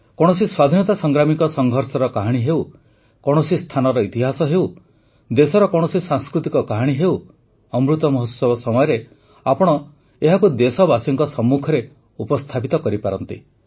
କୌଣସି ସ୍ୱାଧୀନତା ସଂଗ୍ରାମୀଙ୍କ ସଂଘର୍ଷର କାହାଣୀ ହେଉ କୌଣସି ସ୍ଥାନର ଇତିହାସ ହେଉ ଦେଶର କୌଣସି ସାଂସ୍କୃତିକ କାହାଣୀ ହେଉ ଅମୃତ ମହୋତ୍ସବ ସମୟରେ ଆପଣ ଏହାକୁ ଦେଶବାସୀଙ୍କ ସମ୍ମୁଖରେ ଉପସ୍ଥାପିତ କରିପାରନ୍ତି